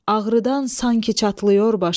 ağrıdan sanki çatlıyor başım.